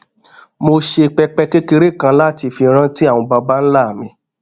mo ṣe pẹpẹ kékeré kan láti fi rántí àwọn baba ńlá mi